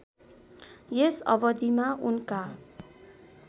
यस अवधिमा उनका